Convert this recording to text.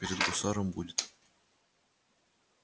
перед гусаром будет